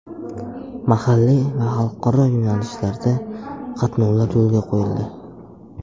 Mahalliy va xalqaro yo‘nalishlarda qatnovlar yo‘lga qo‘yildi.